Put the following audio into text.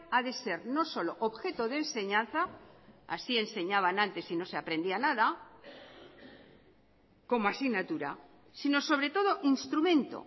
a de ser no solo objeto de enseñanza así enseñaban antes y no se aprendía nada como asignatura si no sobre todo instrumento